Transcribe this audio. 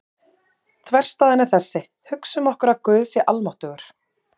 Þverstæðan er þessi: Hugsum okkur að Guð sé almáttugur.